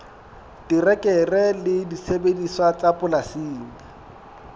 terekere le disebediswa tsa polasing